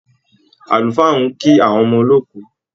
Àlùfáà ń kí àwọn ọmọ olóòkú